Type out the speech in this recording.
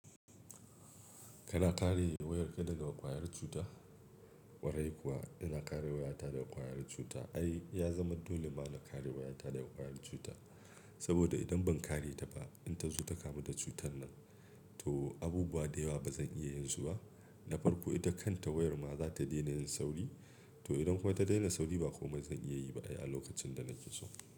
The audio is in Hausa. Kana kare wayarka daga ƙwayar cuta? Warai kuwa ina kare wayata daga ƙwayar cuta. Ai ya zama dole ma na kare wayata daga ƙwayar cuta. Saboda idan ban kare ta ba, in ta zo ta kamu da cutar nan, to abubuwa da yawa ba zan iya yin su ba. Na farko ita kan ta wayar ma za ta daina yin sauri, to idan kuwa ta daina sauri, ba komai zan iya yi ba ai a lokacin da nake so.